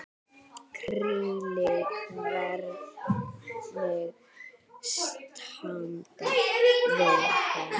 Gísli: Hvernig standa verðin?